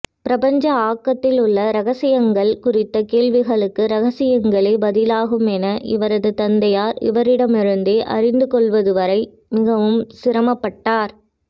பிரபஞ்ச ஆக்கத்தில் உள்ள ரகசியங்கள் குறித்த கேள்விகளுக்கு ரகசியங்களே பதிலாகுமென இவரது தந்தையார் இவரிடமிருந்தே அறிந்துகொள்வதுவரை மிகவும் சிரமப்பட்டார்